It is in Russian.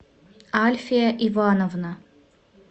альфия ивановна